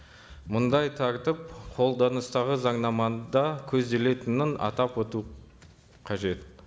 мұндай тәртіп қолданыстағы заңнамада көзделетінін атап өту қажет